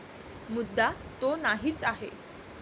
मुद्दा तो नाहीच आहे.